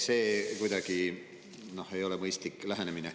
See ei ole kuidagi mõistlik lähenemine.